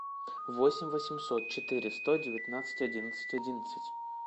восемь восемьсот четыре сто девятнадцать одиннадцать одиннадцать